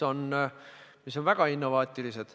Need on väga innovaatilised.